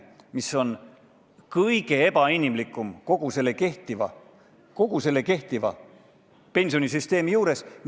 See on kõige ebainimlikum kogu praeguse pensionisüsteemi juures.